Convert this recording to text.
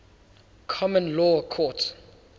common law courts